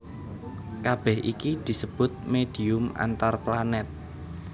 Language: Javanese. Kabèh iki disebut médhium antarplanèt